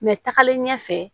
Mɛ tagalen ɲɛfɛ